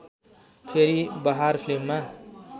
फेरि बहार फिल्ममा